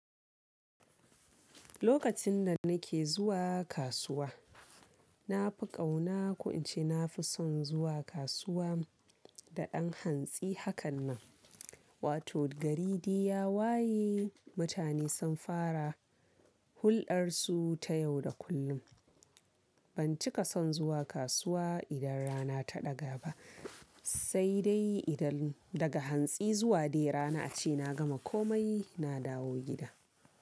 Lokacin da nake zuwa kasuwa, na fi ƙauna ko ince na fi son zuwa kasuwa da dan hantsi hakan nan. Wato gari dai ya waye, mutane sun fara hulɗarsu ta yau da kullum. Ban cika son zuwa kasuwa idan rana ta ɗaga ba, sai dai idan daga hantsi zuwa dai rana a ce na gama komai na dawo gida.